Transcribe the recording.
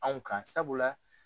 Anw ka sabula.